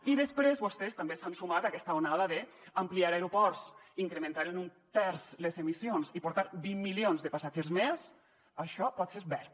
i després vostès també s’han sumat a aquesta onada d’ampliar aeroports incrementar en un terç les emissions i portar vint milions de passatgers més això pot ser verd